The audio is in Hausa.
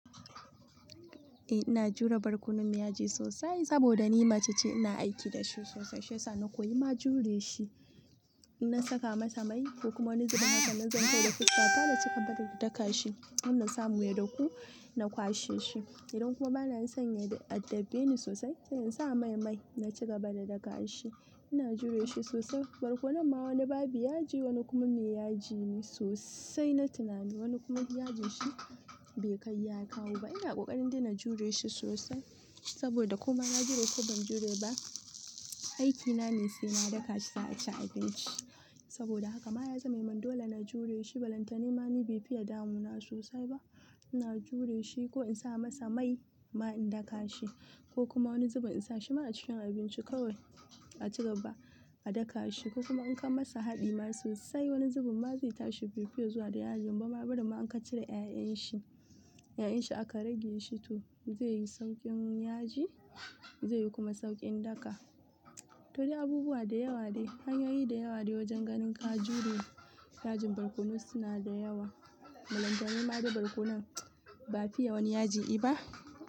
Eh ina jure barkonon me yaji sosai saboda ni mace ce ina aiki da shi sosai shiyasa na koyi ma jure shi. Ina saka masa mai ko kuma wani zubin haka na zanta da fuskata na ci gaba da daka shi har na samu ya dahu na kwashe shi. Idan kuma bana son ya addabe ni sosai sai in sa mai-mai na ci gaba da daka shi. Ina jure shi sosai barkonon ma wani babu yaji wani kuma mai yaji ne sosai na tunani wani kuma yajinshi baikai ya kawo ba ina kokarindai na jureshi sosai saboda kona jure ko ban jure ba aiki nane sai na daka za'aci abinci saboda haka ma ya zaman min dole na jure shi. Bulantana ma ni bai fiye damuna sosai ba. Ina jure shi ko in sa masa mai ma in daka shi ko kuma wani zubin in sa shi ma a cikin abinci kawai a ci gaba a daka shi. Ko kuma in ka masa haɗi ma sosai wani zubin ma zai tashi bai fiye zuwa da ya. Inba ma bari ma in ka cire 'ya'yan shi, 'ya'yan shi aka rage shi to zai yi sauƙin yaji zai yi kuma sauƙin daka. To dai abubuwa da yawa ne hanyoyi da yawa de wajen ganin ka jure yajin barkono suna da yawa. Bulantani ma ga barkonon ba fiye wani yaji i ba.